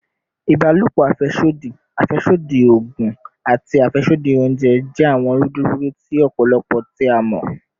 Ibalopo afẹsodi, afẹsodi oogun, ati afẹsodi ounjẹ jẹ awọn rudurudu ti ọpọlọ ti a mọ